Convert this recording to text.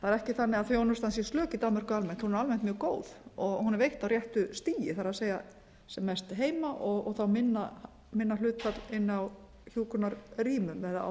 það er ekki þannig að þjónustan sé slök í danmörku almennt hún er almennt mjög góð og hún er veitt á réttu stigi það er sem mest heima og þá minna hlutfall inni á hjúkrunarrýmum eða á